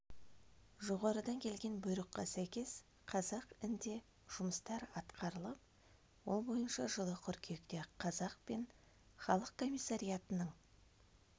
жоғарыдан келген бұйрыққа сәйкес қазақ інде жұмыстар атқарылып ол бойынша жылы қыркүйекте қазақ мен халық комиссариатының